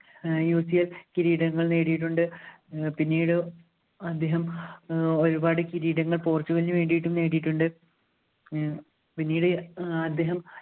ഏർ കിരീടങ്ങൾ നേടിയിട്ടുണ്ട് പിന്നീട് അദ്ദേഹം ഏർ ഒരുപാട് കിരീടങ്ങൾ പോർച്ചുഗലിനു വേണ്ടിയിട്ടും നേടിയിട്ടുണ്ട് ഏർ പിന്നീട് അദ്ദേഹം